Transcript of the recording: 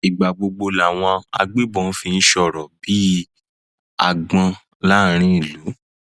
ìgbà gbogbo làwọn agbébọn fi ń sọrọ bíi àgbọn láàrin ìlú